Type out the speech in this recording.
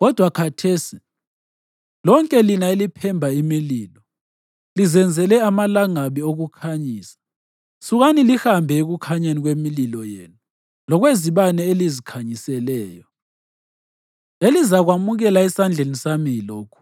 Kodwa khathesi, lonke lina eliphemba imililo lizenzele amalangabi okukhanyisa, sukani, lihambe ekukhanyeni kwemililo yenu, lokwezibane elizikhanyisileyo. Elizakwamukela esandleni sami yilokhu: